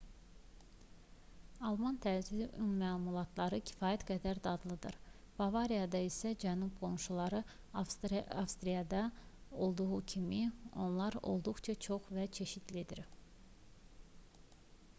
alman tərzi un məmulatları kifayət qədər dadlıdır bavariyada isə cənub qonşuları avstriyada da olduğu kimi onlar olduqca çox və çeşidlidir